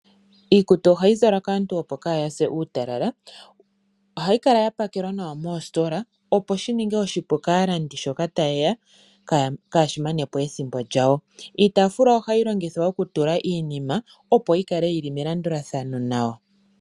Iikutu ohayi zalwa kaantu opo kaaya se uutalala. Ohayi kala ya pakelwa nawa moositola, opo shi ninge oshipu kaalandi shoka ta yeya kaashi manepo ethimbo lyayo. Iitafula ohayi longithwa okutula iinima opo yi kale yili melandulathano nawa.